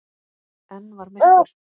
Enn var myrkur.